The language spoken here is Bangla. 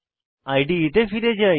ইদে তে ফিরে যাই